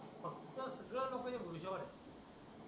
चल या लवकर तुम्ही जेवायला या